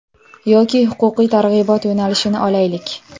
Yoki huquqiy targ‘ibot yo‘nalishini olaylik.